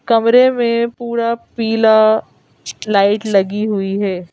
कमरे में पूरा पीला लाइट लगी हुई है।